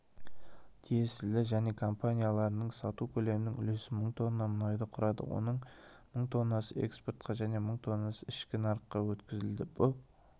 тиесілі және компанияларының сату көлемінің үлесі мың тонна мұнайды құрады оның мың тоннасы экспортқа және мың тоннасы ішкі нарыққа өткізілді бұл